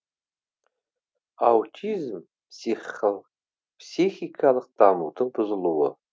аутизм психикалық дамудың бұзылуы